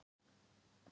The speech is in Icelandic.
Ég var í miklu uppnámi.